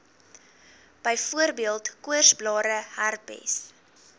byvoorbeeld koorsblare herpes